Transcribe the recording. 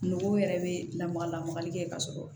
Nogo yɛrɛ bɛ lamaga lamagali kɛ ka sɔrɔ